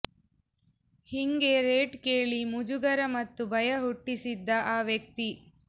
ಹಿಂಗೆ ರೇಟ್ ಕೇಳಿ ಮುಜುಗರ ಮತ್ತು ಭಯ ಹುಟ್ಟಿಸಿದ್ದ ಆ ವ್ಯಕ್ತಿ